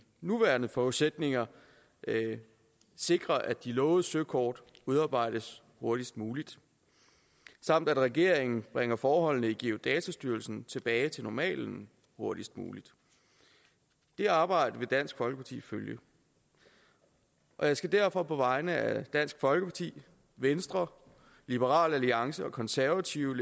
nuværende forudsætninger sikrer at de lovede søkort udarbejdes hurtigst muligt samt at regeringen bringer forholdene i geodatastyrelsen tilbage til normalen hurtigst muligt det arbejde vil dansk folkeparti følge jeg skal derfor på vegne af dansk folkeparti venstre liberal alliance og konservative